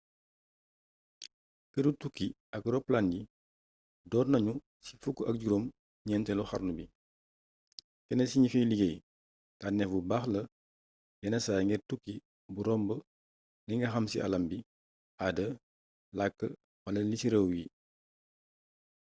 keeru tukki ak ropalaan yi doornagnu ci fukk ak juroom gnentélu xarnu bi kénn ci gnifay ligéy tanéf bu baax la yénn say ngir tukki bu romb linga xam ci aalam bi aada lakk wala lici rééw yi